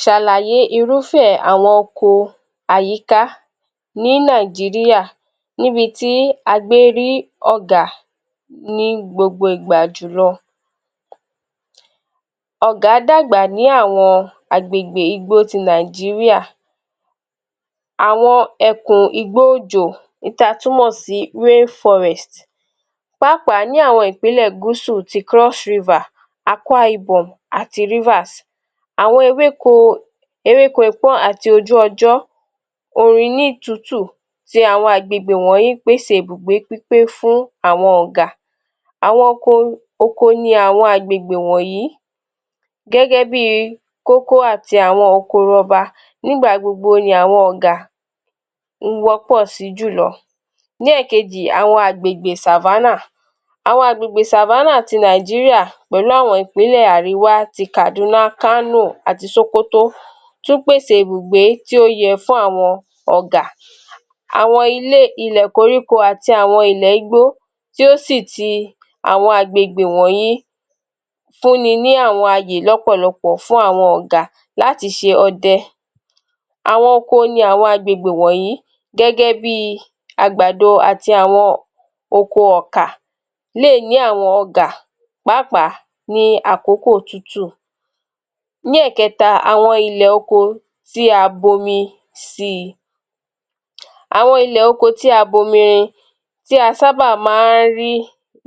Ṣàlàyé irúfẹ́ àwọn oko àyíká ní Nàìjíríà níbi tí a gbé rí Ọ̀gà ní gbogbo ìgbà jùlọ.ọ̀gà dàgbà ni àwọn àgbègbè igbó ti Nàìjíríà. Àwọn ẹ̀kùn igbó òjò èyí tí a túmọ̀ sí {rain forest} páápàá ní àwọn Ìpínlẹ̀ Gúsù ti { Cross River} {Akwa Ibom} àti {Rivers} Àwọn ewéko ewéko ikó àti ojú ọjọ́ òrínnù tútù ti àwọn agbègbè wọ̀nyí pèsè ibùgbé pípé fún àwọn Ọ̀gà. Àwọn oko, oko ni àwọn àgbègbè wọ̀nyí gẹ́gẹ́ bí i kókó àti àwọn okoro ọba nígbà gbogbo ni àwọn Ọ̀gà ń wọ́pọ̀ sí jùlọ. Ní ẹ̀ẹ̀kejì, áwon àgbègbè savanna, áwon àgbègbè savanna ti Nàìjíríà pẹ̀lú àwọn Ìpínlẹ̀ àríwá ti Kàdúná, Kànò àti Ṣókótó tún pèsè ibùgbé ti ó yẹ fún àwọn Ọ̀gà. Àwọn ilé, ilẹ̀ koríko àti àwọn ilẹ̀ igbó tí ó sì ti àwọn àgbègbè wọ̀nyí fun ni ní àwọn ayè ni ọ̀pọ̀lọpọ̀ fún àwọn Ọ̀gà láti ṣe ọdẹ. Àwọn oko ni àwọn agbègbè wọ̀nyí gẹ́gẹ́ bí i àgbàdo àti àwọn oko ọ̀kà lè ní. Àwọn Ọ̀gà pàápàá ní àkókò òtútù. Ní ẹẹ̀kẹta, àwọn ilẹ̀ oko tí a bomi sì, àwọn ilẹ̀ oko tí a bomi rin, tí a sáábà máa ń rí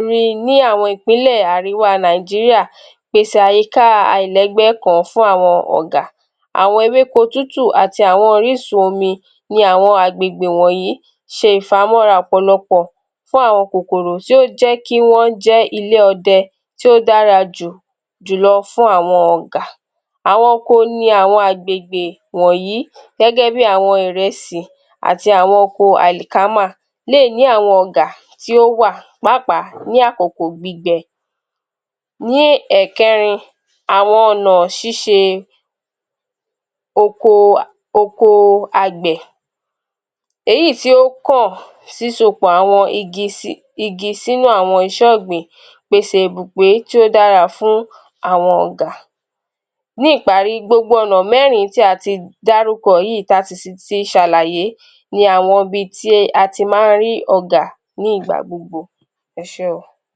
ri ní àwọn Ìpínlẹ̀ Àríwá tí Nàìjíríà pèsè àyíká a àìlẹ́gbẹ́ kan fún àwọn Ọ̀gà. Àwọn ewéko tútù àti àwọn Orísun omi ní àwọn àgbègbè wọ̀nyí ṣe ìfamọ́ra ọ̀pọ̀lọpọ̀ fún àwọn kòkòrò tí ó jé ilé ọdẹ tí ó dára jù jùlọ fún àwọn Ọ̀gà. Àwọn oko ni àwọn àgbègbè wọ̀nyí gẹ́gẹ́ bí àwọn ìrẹsì àti àwọn oko àlìkámà lè è ní àwọn Ọ̀gà tí ó wà, pàápàá ní àkókò gbígbẹ. Ní ẹ̀ẹ̀kẹrin, àwọn ọ̀nà ṣíṣe oko a oko Àgbẹ̀, èyí í tí ó kọ̀ sísọ pọ̀ àwọn igi si igi sínú àwọn iṣẹ́ ọ̀gbìn pèsè ìbùgbé tí ó dára fún àwọn Ọ̀gà. Ní ìparí gbogbo ọ̀nà mẹ́rin tí a ti dárúkọ yí i tí a sì ti ṣàlàyé ní àwọn ibi tí ati máa ń rí Ọ̀gà ní ìgbà gbogbo. Ẹ ṣé.